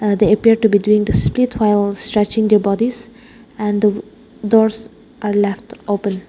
ah they appeared to be doing the split while stretching their bodies and the doors are left open.